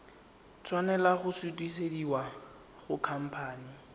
tshwanela go sutisediwa go khamphane